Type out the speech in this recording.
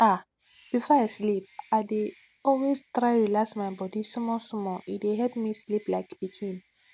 ah before i sleep i dey always try relax my body smallsmalle dey help me sleep like pikin